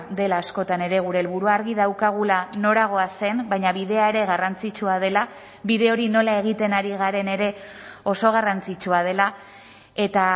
dela askotan ere gure helburua argi daukagula nora goazen baina bidea ere garrantzitsua dela bide hori nola egiten ari garen ere oso garrantzitsua dela eta